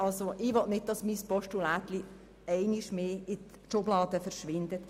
Ich möchte nicht, dass dieser Vorstoss ebenfalls ein einer Schublade landet.